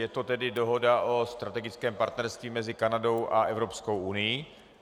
Je to tedy dohoda o strategickém partnerství mezi Kanadou a Evropskou unií.